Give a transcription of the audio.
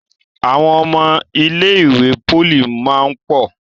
Àwọn ọmọ ilé ìwé poli món pọ.